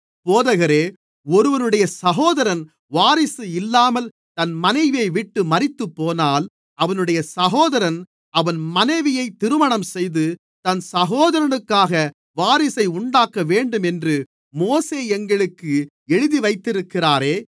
போதகரே ஒருவனுடைய சகோதரன் வாரிசு இல்லாமல் தன் மனைவியைவிட்டு மரித்துப்போனால் அவனுடைய சகோதரன் அவன் மனைவியை திருமணம்செய்து தன் சகோதரனுக்காக வாரிசை உண்டாக்கவேண்டும் என்று மோசே எங்களுக்கு எழுதிவைத்திருக்கிறாரே